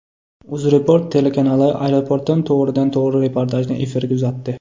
UzReport telekanali aeroportdan to‘g‘ridan to‘g‘ri reportajni efirga uzatdi.